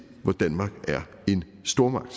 hvor danmark er en stormagt